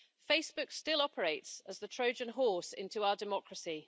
Facebook still operates as the Trojan horse into our democracy.